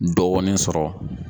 Dɔɔni sɔrɔ.